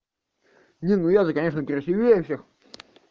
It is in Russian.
не ну я-то конечно красивее всех